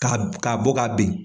Ka ka bɔ k'a ben.